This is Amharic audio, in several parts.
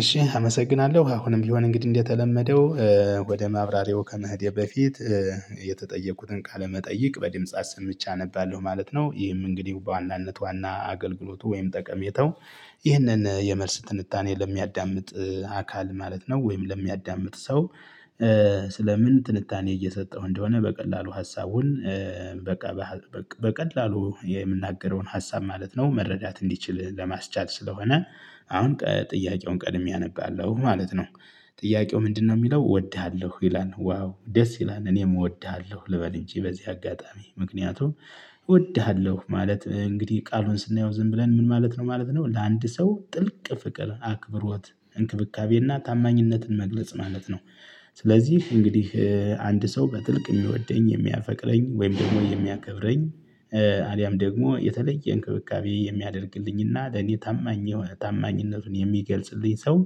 እሺ አመሰግናለሁ አሁንም ቢሆን እንግዲህ እንደተለመደው ወደ ማብራሪያው ከመሄዴ በፊት የተጠየቁትን ቃለመጠይቅ በድምጽ አሰምቼ አነባለሁ ማለት ነው። ይህም እንግዲህ በዋናነት ዋና አገልግሎቱ ወይም ጠቀሜታው። ይህንን የመልስ ትንታኔ ለሚያዳምጥ አካል ማለት ነው ወይም ለሚያዳምጥ ሰው። ስለ ምን ትንታኔ እየሰጠሁ እንደሆነ በቀላሉ ሀሳቡን። በቃ በቀላሉ የምናገረውን ሀሳብ ማለት ነው መረዳት እንዲችል ለማስቻል ስለሆነ። አሁን ጥያቄውን ቀድሜ አነባለሁ ማለት ነው። ጥያቄው ምንድነው? የሚለው እወድሃለሁ ይላል ዋው ደስ ይላል እኔም እወድሃለሁ ልበል እንጂ በዚህ አጋጣሚ ምክንያቱም። እወድሃለሁ ማለት እንግዲህ ቃሉን ስናየው ዝም ብለን ምን ማለት ነው ማለት ነው። ለአንድ ሰው ጥልቅ ፍቅር አክብሮት እንክብካቤና ታማኝነትን መግለጽ ማለት ነው። ስለዚህ እንግዲህ አንድ ሰው በጥልቅ የሚወደኝ የሚያፈቅረኝ ወይም ደግሞ የሚያከብረኝ። አልያም ደግሞ የተለየ እንክብካቤ የሚያደርግልኝና ለኔ ታማኝ ታማኝነቱን የሚገልጽልኝ ሰው።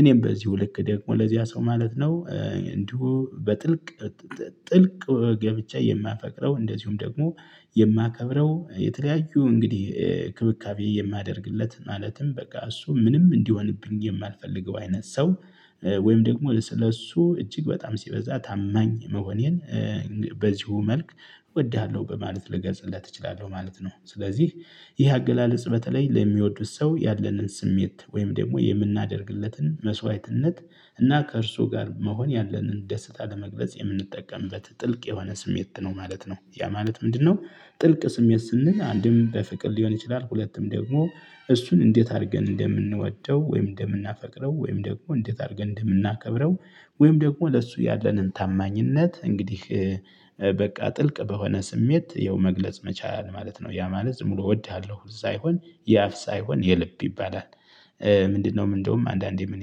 እኔም በዚሁ ልክ ደግሞ ለዚያ ሰው ማለት ነው እንዲሁ በጥልቅ። ጥልቅ ገብቼ የማፈቅረው እንደዚሁም ደግሞ የማከብረው የተለያዩ እንግዲህ እንክብካቤ የማደርግለት ማለትም በቃ እሱ ምንም እንዲሆንብኝ የማልፈልገው አይነት ሰው። ወይም ደግሞ ለሱ እጅግ በጣም ሲበዛ ታማኝ መሆኔን በዚሁ መልክ። እወድሃለሁ በማለት ልገልጽለት እችላለሁ ማለት ነው። ስለዚህ ይህ አገላለጽ በተለይ ለሚወዱት ሰው ያለንን ስሜት ወይም ደግሞ የምናደርግለትን መስዋዕትነት። እና ከእርሱ ጋር መሆን ያለንን ደስታ ለመግለጽ የምንጠቀምበት ጥልቅ የሆነ ስሜት ነው ማለት ነው። ያ ማለት ምንድነው? ጥልቅ ስሜት ስንል አንድም በፍቅር ሊሆን ይችላል። ሁለቱም ደግሞ እሱን እንዴት አድርገን እንደምንወደው ወይም እንደምናፈቅረው ወይም ደግሞ እንዴት አድርገን እንደምናከብረው። ወይም ደግሞ ለሱ ያለንን ታማኝነት እንግዲህ። በቃ ጥልቅ በሆነ ስሜት ይኸው መግለጽ መቻል ማለት ነው። ያ ማለት ዝም ብሎ እወድሃለሁ ሳይሆን የአፍ ሳይሆን የልብ ይባላል። ምንድነው እንዲያውም አንዳንዴ ምን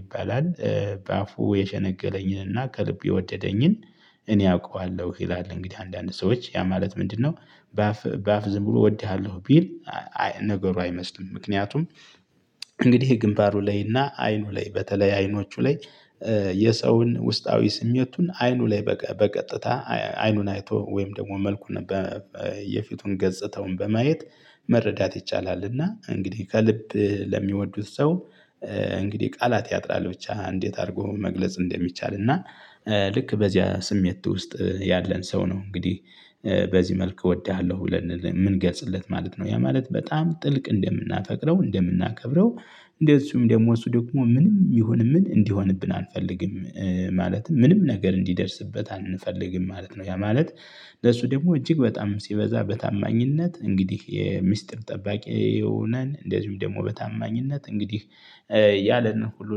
ይባላል? በአፉ የሸነገለኝንና ከልቡ የወደደኝን እኔ አውቀዋለሁ ይላል። እንግዲህ አንዳንድ ሰዎች ያ ማለት ምንድነው? በአፍ በአፍ ዝም ብሎ እወድሃለሁ ቢል። ነገሩ አይመስልም ምክንያቱም። እንግዲህ ግንባሩ ላይ እና አይኑ ላይ በተለይ አይኖቹ ላይ። የሰውን ውስጣዊ ስሜቱን አይኑ ላይ በቀጥታ አይኑን አይቶ ወይም ደግሞ መልኩን። የፊቱን ገጽታውን በማየት። መረዳት ይቻላልና እንግዲህ ከልብ ለሚወዱት ሰው። እንግዲህ ቃላት ያጥራል ብቻ እንዴት አድርጎ መግለጽ እንደሚቻል እና። ልክ በዚያ ስሜት ውስጥ ያለን ሰው ነው እንግዲህ። በዚህ መልክ እወድሃለሁ ብለን የምንገልጽለት ማለት ነው። ያ ማለት በጣም ጥልቅ እንደምናፈቅረው እንደምናከብረው እንደዚሁም ደግሞ እሱ ደግሞ ምንም ይሁን ምን እንዲሆንብን አንፈልግም። ማለትም ምንም ነገር እንዲደርስበት አንፈልግም ማለት ነው ያ ማለት። ለሱ ደግሞ እጅግ በጣም ሲበዛ በታማኝነት እንግዲህ የሚስጥር ጠባቂ ሁነን እንደዚሁም ደግሞ በታማኝነት እንግዲህ። ያለን ሁሉ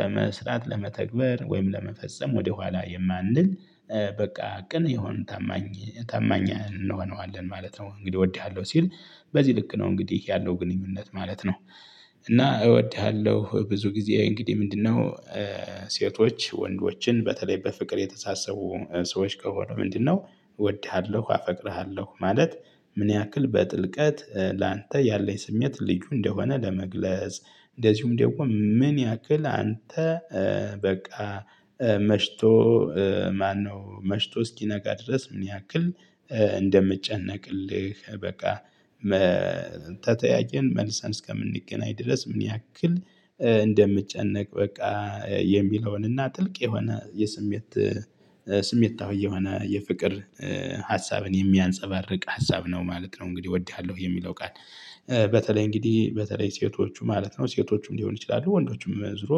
ለመስራት ለመተግበር ወይም ለመፈጸም ወደኋላ የማንል። በቃ ቅን የሆን ታማኝ ታማኝ እንሆነዋለን ማለት ነው። እንግዲህ እወድሃለሁ ሲል። በዚህ ልክ ነው እንግዲህ ያለው ግንኙነት ማለት ነው። እና እወድሃለሁ ብዙ ጊዜ እንግዲህ ምንድነው? ሴቶች ወንዶችን በተለይ በፍቅር የተሳሰቡ ሰዎች ከሆኑ ምንድነው? እወድሃለሁ አፈቅርሃለሁ ማለት ምን ያክል በጥልቀት ላንተ ያለኝ ስሜት ልዩ እንደሆነ ለመግለጽ። እንደዚሁም ደግሞ ምን ያክል አንተ። በቃ መሽቶ ማነው መሽቶ እስኪነጋ ድረስ ምን ያክል። እንደምጨነቅልህ በቃ። ተተያየን መልሰን እስከምንገናኝ ድረስ ምን ያክል። እንደምጨነቅ በቃ። የሚለውንና ጥልቅ የሆነ የስሜት። ስሜታዊ የሆነ የፍቅር። ሀሳብን የሚያንፀባርቅ ሀሳብ ነው ማለት ነው። እንግዲህ እወድሃለሁ የሚለው ቃል። በተለይ እንግዲህ በተለይ ሴቶቹ ማለት ነው ሴቶቹም ሊሆን ይችላሉ ወንዶቹም ዞሮ።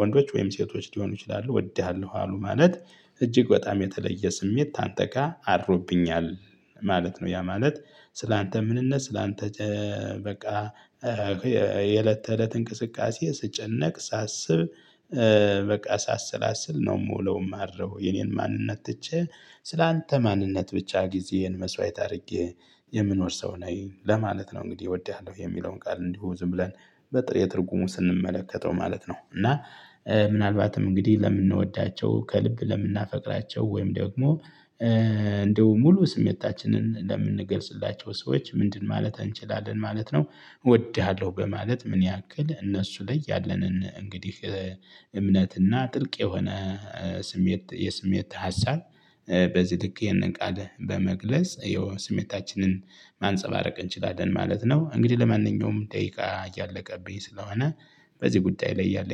ወንዶች ወይም ሴቶች ሊሆኑ ይችላሉ እወድሃለሁ አሉ ማለት እጅግ በጣም የተለየ ስሜት ካንተጋ አድሮብኛል። ማለት ነው ያ ማለት። ስላንተ ምንነት ስላንተ። በቃ። የእለት ተእለት እንቅስቃሴ ስጨነቅ ሳስብ። በቃ ሳሰላስል ነው የምውለው የማድረው የኔን ማንነት ትቼ። ስላንተ ማንነት ብቻ ጊዜዬን መስዋዕት አድርጌ። የምኖር ሰው ነኝ ለማለት ነው። እንግዲህ እወድሃለሁ የሚለውን ቃል እንዲሁ ዝም ብለን በጥሬ ትርጉሙ ስንመለከተው ማለት ነው። እና። ምናልባትም እንግዲህ ለምንወዳቸው ከልብ ለምናፈቅራቸው ወይም ደግሞ። እንደው ሙሉ ስሜታችንን ለምንገልጽላቸው ሰዎች ምንድን ማለት እንችላለን ማለት ነው። እወድሃለሁ በማለት ምን ያክል እነሱ ላይ ያለንን እንግዲህ እምነትና ጥልቅ የሆነ። የስሜት ሀሳብ። በዚህ ልክ ይህንን ቃል በመግለጽ ይኸው ስሜታችንን ማንፀባረቅ እንችላለን ማለት ነው። እንግዲህ ለማንኛውም ደቂቃ እያለቀብኝ ስለሆነ። በዚህ ጉዳይ ላይ ያለኝ